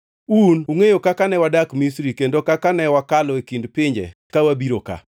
Un ungʼeyo kaka ne wadak Misri kendo kaka ne wakalo e kind pinje ka wabiro ka.